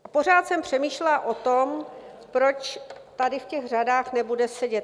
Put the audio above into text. A pořád jsem přemýšlela o tom, proč tady v těch řadách nebude sedět.